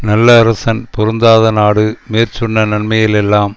நல்ல அரசன் பொருந்தாத நாடு மேற்சொன்ன நன்மைகள் எல்லாம்